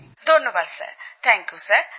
ধন্যবাদ sir thank you sir